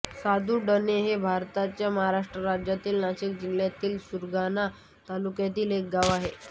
सादुडणे हे भारताच्या महाराष्ट्र राज्यातील नाशिक जिल्ह्यातील सुरगाणा तालुक्यातील एक गाव आहे